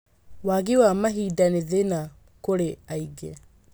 Wagi wa mahinda nĩ thĩna kũrĩ aingĩ.